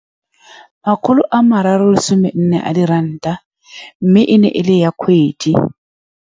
Makgolo a mararo lesome nne a di ranta, mme ene e le ya kgwedi.